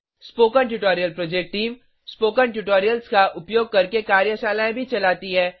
spoken tutorial project team spoken tutorials का उपयोग करके कार्यशालाएं भी चलाती है